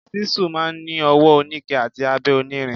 Ṣísù máa ń ni ọwọ oníke àti abẹ onírin.